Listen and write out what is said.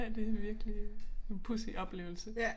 Ja det virkelig en pudsig oplevelse